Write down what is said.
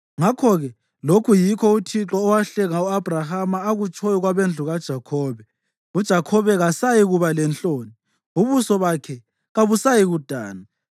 Ngakho-ke lokhu yikho uThixo owahlenga u-Abhrahama akutshoyo kwabendlu kaJakhobe: “UJakhobe kasayikuba lenhloni, ubuso bakhe kabusayikudana.